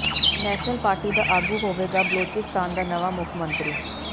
national Party ਦਾ ਆਗੂ ਹੋਵੇਗਾ ਬਲੋਚਿਸਤਾਨ ਦਾ ਨਵਾਂ ਮੁੱਖ ਮੰਤਰੀ